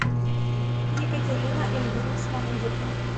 екатерина ильинична музыка